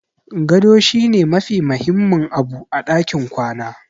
Gado shi ne mafi mahimmin abu a ɗakin kwana.